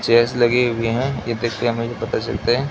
Chairs लगे हुए हैं ये देखकेे हमें भी पता चलता है।